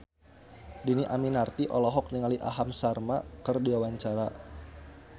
Dhini Aminarti olohok ningali Aham Sharma keur diwawancara